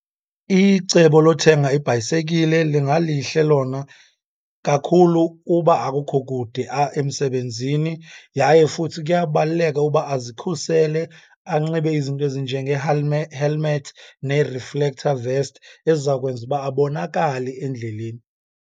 Icebo lothenga ibhayisekile lingalihle lona kakhulu uba akukho kude emsebenzini. Yaye futhi kuyabaluleka uba azikhusele, anxibe izinto helmet nee-reflector vest eziza kwenza uba abonakale endleleni.